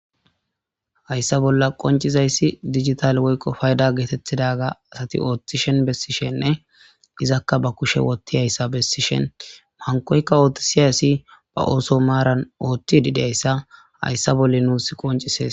hayssa bolla qoncizayssi digital woykqo payda geetettidaga asati ooththishen bessishenne izakka ba kushe wotti hayssa bessishen mankoyka ooththi siyayssi ba ooso maaran oothti dideyssa hayssa bolle nuus qoncisees